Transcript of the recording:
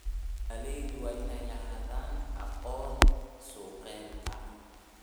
Beeralayda waa inay lahaadaan aqoonta suuqgeynta.